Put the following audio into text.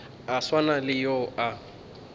a swana le yo a